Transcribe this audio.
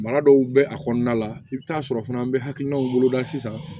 Mara dɔw bɛ a kɔnɔna la i bɛ taa sɔrɔ fana an bɛ hakilinaw woloda sisan